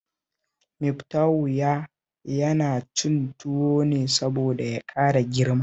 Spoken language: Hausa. Miftahu ya yana cin tuwo ne saboda ya ƙara girma